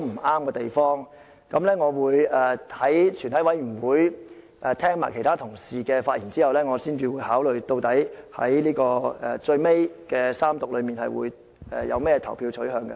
我會在全體委員會階段聆聽其他同事的發言後，再視乎情況考慮在最後的三讀階段的投票取向。